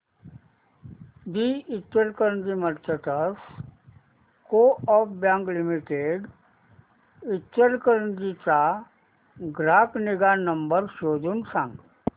दि Ichalkaranji merchants co-op bank limited Ichalkaranji चा ग्राहक निगा नंबर शोधून सांग